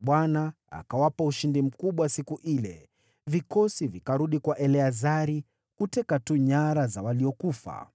Bwana akawapa ushindi mkubwa siku ile. Vikosi vikarudi kwa Eleazari, kuteka tu nyara za waliokufa.